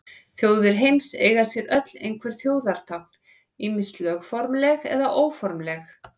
Þjóðir heims eiga sér öll einhver þjóðartákn, ýmist lögformleg eða óformleg.